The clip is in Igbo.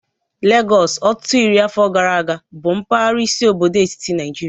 Legọs, ọtụtụ iri afọ gara aga, bụ mpaghara isi obodo etiti Nigeria